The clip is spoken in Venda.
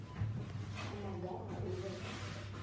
kha maga a u vhea